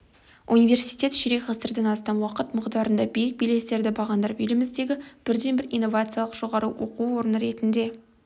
университет ширек ғасырдан астам уақыт мұғдарында биік белестерді бағындырып еліміздегі бірден-бір инновациялық жоғары оқу орны ретінде